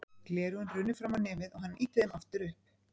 Gleraugun runnu fram á nefið og hann ýtti þeim aftur upp.